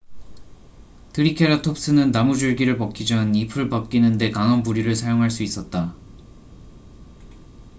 트리케라톱스는 나무줄기를 먹기 전 잎을 벗기는데 강한 부리를 사용할 수 있었다